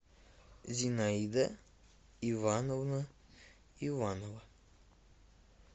зинаида ивановна иванова